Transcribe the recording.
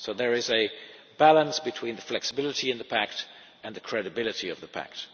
There is a balance between the flexibility in the pact and the credibility of the